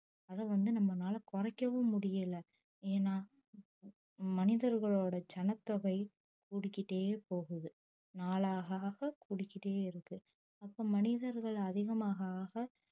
அதை வந்து நம்மளால குறைக்கவும் முடியலை ஏன்னா மனிதர்களோட ஜனத்தொகை கூடிக்கிட்டே போகுது நாளாக ஆக கூடிக்கிட்டே இருக்கு அப்போ மனிதர்கள் அதிகமாக ஆக